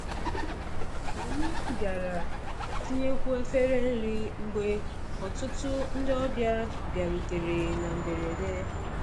Anyị bịara tinyekwuo efere nri mgbe ọtụtụ ndị ọbịa bịarutere na mberede.